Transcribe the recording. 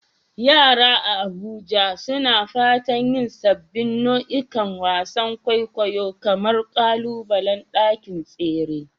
Yara a Abuja suna fatan yin sabbin nau'ikan wasan kwaikwayo kamar ƙalubalen ɗakin tsere.